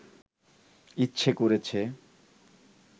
ইচ্ছে করেছে